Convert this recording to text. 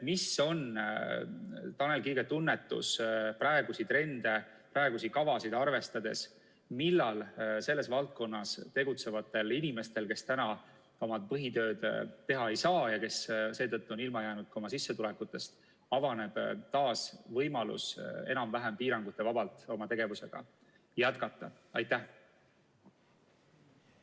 Mis on Tanel Kiige tunnetus praegusi trende, praegusi kavasid arvestades, millal selles valdkonnas tegutsevatel inimestel, kes oma põhitööd teha ei saa ja kes seetõttu on ilma jäänud oma sissetulekutest, avaneb taas võimalus enam-vähem piirangutevabalt oma tegevusega jätkata?